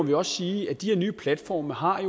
vi også sige at de her nye platforme har